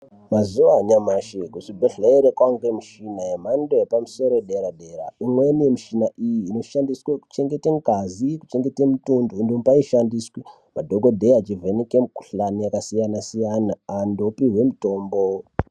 Mazuva anyamashi kuzvibhedhlere kovanikwa michina yemhando yepamusoro yedera-dera. Imweni yemichina iyi noshandiswe kuchengete ngazi kuchengete mutundo inombai shandiswi madhogodheya achivheneke mikuhlani yakasiyana-siyana, antu opihwe mutombo.